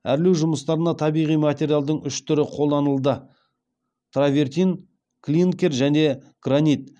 әрлеу жұмыстарына табиғи материалдың үш түрі қолданылды травертин клинкер және гранит